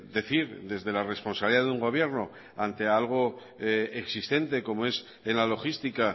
decir desde la responsabilidad de un gobierno ante algo existente como es en la logística